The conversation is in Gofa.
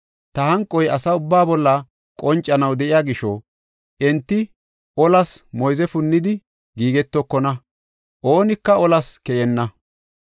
Ta hanqoy asa ubbaa bolla qoncanaw de7iya gisho enti olas moyze punnidi giigetokona; oonika olas keyenna.